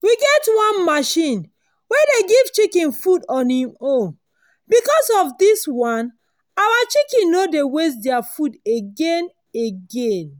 we get one machine wey dey give chicken food on hin own. because of this one our chicken no dey waste their food again. again.